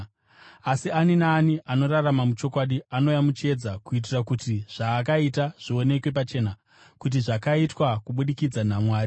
Asi ani naani anorarama muchokwadi anouya muchiedza, kuitira kuti zvaakaita zvionekwe pachena kuti zvakaitwa kubudikidza naMwari.”